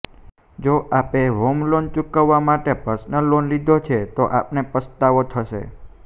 જો આપે home loan ચૂકવવા માટે પર્સનલ લોન લીધો તો આપને પસ્તાવો થશે